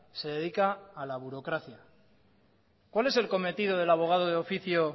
se dedica a la burocracia cuál es el cometido del abogado de oficio